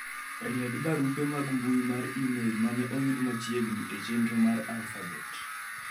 ried barupe mag mbui mar email mane oyud machiegni e chenro mar alfabet